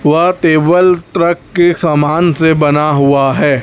वह table truck के सामान से बना हुवा हैं।